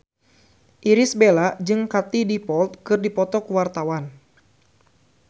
Irish Bella jeung Katie Dippold keur dipoto ku wartawan